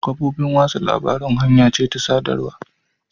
Kafofin watsa labarun hanya ce ta sadarwa.